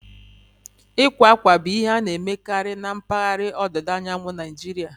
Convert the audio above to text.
Ịkwa akwa bụ ihe a na-emekarị na mpaghara ọdịda anyanwụ Naijiria